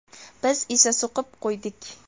Biz esa suqib qo‘ydik.